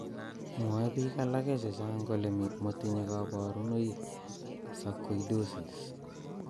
Mwoe biik alake chechang' kole motinye kaborunoik sarcoidosis